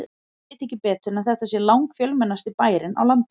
Ég veit ekki betur en þetta sé langfjölmennasti bærinn á landinu.